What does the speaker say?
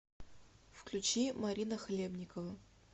включи марина хлебникова